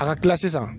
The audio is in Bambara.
A ka kila sisan